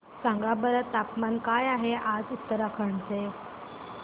सांगा बरं तापमान काय आहे आज उत्तराखंड चे